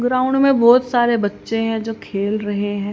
Ground में बहुत सारे बच्चे हैं खेल रहे हैं।